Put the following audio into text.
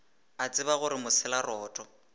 a tseba gore mosela roto